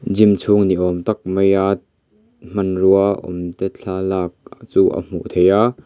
gym chhung ni awm tak maia hmanrua awm te thlalak chu a hmuh thei a.